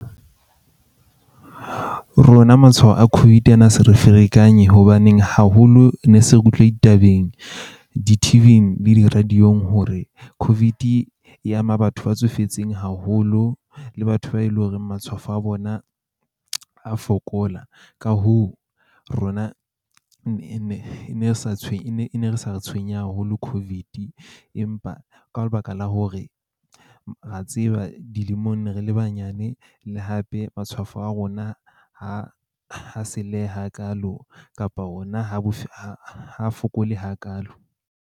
Rona matshwao a COVID a na sa re ferekanye hobaneng haholo ne se re utlwa ditabeng di-T_V-ing le di-radio-ng hore COVID-e e ama batho ba tsofetseng haholo le batho ba eleng horeng matshwafo a bona a fokola. Ka hoo, rona e nne e nne ne sa e ne sa re tshwenye haholo COVID-e. Empa ka lebaka la hore ra tseba dilemong ne re le banyane le hape matshwafo a rona ha ha hakaalo, kapa hona ha bo ha fokole hakaalo.